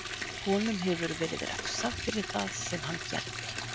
Honum hefur verið refsað fyrir það sem hann gerði